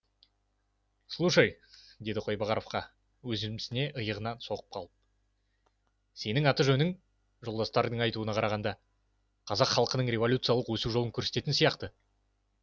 слушай дейді қойбағаровқа өзімсіне иығынан соғып қалып сенің аты жөнің жолдастардың айтуына қарағанда қазақ халқының революциялық өсу жолын көрсететін сияқты